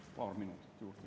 Palun paar minutit juurde.